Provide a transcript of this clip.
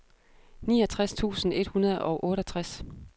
niogtres tusind et hundrede og otteogtres